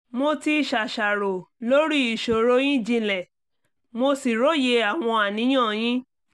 mo ti ṣàṣàrò lórí ìṣòro yín jinlẹ̀ mo sì róye àwọn àníyàn yín